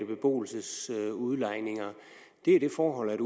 beboelsesudlejning er det forhold at